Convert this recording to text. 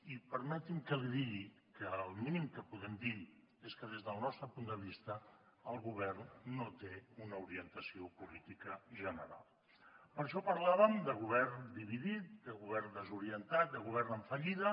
i permeti’m que li digui que el mínim que podem dir és que des del nostre punt de vista el govern no té una orientació política general per això parlàvem de govern dividit de govern desorientat de govern en fallida